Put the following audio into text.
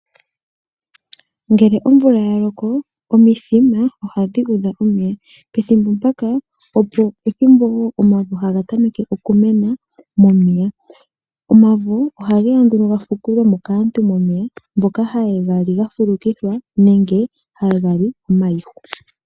Ngele omvula ya loko omithima ohadhi udha omeya pethimbo mpaka opo ethimbo wo omavo haga tameke okumena momeya. Omavo oha geya nduno ha vukulwe mo kaantu momeya mboka haye ga li ga fulukithwa nenge haye ga li omayihu.